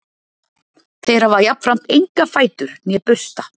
Þeir hafa jafnframt enga fætur né bursta.